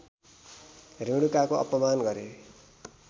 रेणुकाको अपमान गरे